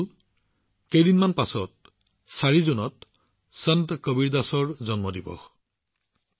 বন্ধুসকল কেইদিনমান পিছত অৰ্থাৎ জুনৰ ৪ তাৰিখে সন্ত কবিৰদাসজীৰ জন্ম জয়ন্তীও